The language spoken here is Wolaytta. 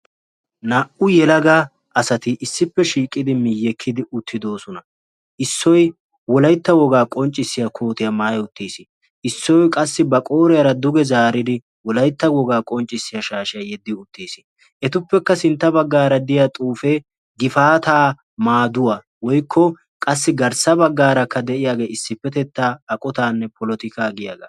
Naa"u yelaga asati issippe shiiqidi miyyekkidi uttidoosona. Issoy wolaytta wogaa qonccissiyaa koottiyaa maatti uttiis. Issoy qassi ba qooriyaara duge zaaridi wolaytta wogaa qonccissiyaa shaashshiya yeggi uttiis. Etuppekka sinttaa baggaara de'iyaa xuufe gifaata maadduwa woykko qassi garssa baggaarakka de'iyaagenne issipetetta eqqotanne polotikka giyaaga